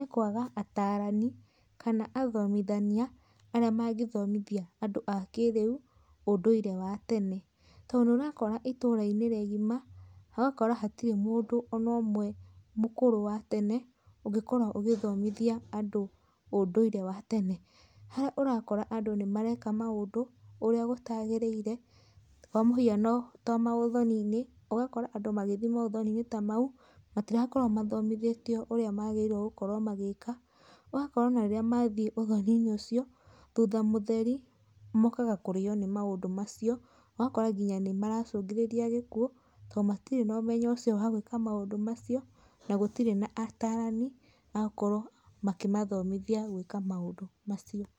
Nĩ kwaga atarani, kana athomithania, arĩa mangĩthomithia andũ a kĩrĩu, ũndũire wa tene. Tondũ nĩũrakora itũra-inĩ rĩgima, ũgakora hatirĩ mũndũ ona ũmwe mũkũrũ wa tene, ũngĩkorwo ũgĩthomithia andũ, ũndũire wa tene. Harĩa ũrakora andũ nĩmareka maũndũ, ũrĩa gũtagĩrĩire, kwa mũhiano ta maũthoni-inĩ, ũgakora andũ magĩthiĩ maũthoni-inĩ ta mau, matirakorwo mathomithĩtio ũrĩa magĩrĩirũo gũkorwo magĩka. Ũgakora ona rĩrĩa mathiĩ ũthoni-inĩ ũcio, thutha mũtheri, mokaga kũrĩo nĩ maũndũ macio. Ũgakora nginya nĩmaracũngĩrĩria gĩkuũ, tondũ matirĩ na ũmenyo ũcio wa gũĩka maũndũ macio, na gũtirĩ na atarani, magũkorũo makĩmathomithia gũĩka maũdũ macio.